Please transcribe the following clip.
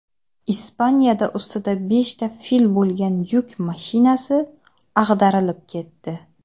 Ispaniyada ustida beshta fil bo‘lgan yuk mashinasi ag‘darilib ketdi.